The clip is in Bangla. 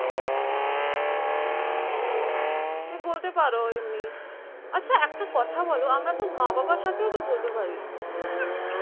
তুমি বলতে পারো এমনি আছা একটা কথা বলো আমরা তো মা বাবার সাথেও তো বলতে পারি